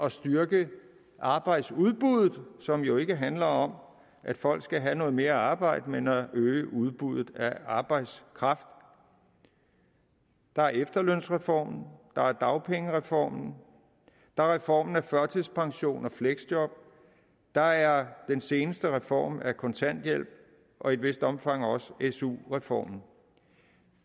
at styrke arbejdsudbuddet som jo ikke handler om at folk skal have noget mere arbejde men om at øge udbuddet af arbejdskraft der er efterlønsreformen der er dagpengereformen der er reformen af førtidspension og fleksjob der er den seneste reform af kontanthjælpen og i et vist omfang også su reformen